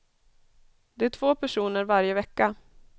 Det är två personer varje vecka.